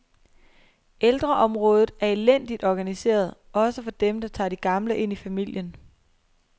Ældreområdet er elendigt organiseret, også for dem, der tager de gamle ind i familien.